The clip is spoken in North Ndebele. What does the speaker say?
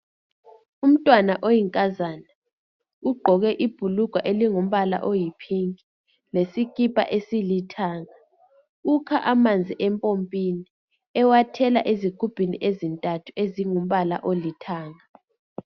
Umntwana oyinkazana ugqoke ibhulugwa elingumbala oyi pink lesikipa esilithanga .Ukha amanzi empompini ewathela ezigubhini ezintathu ezingumbala olithanga.